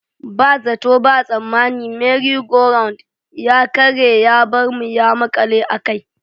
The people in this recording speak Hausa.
Ba zato ba tsammani 'Merry Go Round' ya karye ya bar mu ya makale a kai.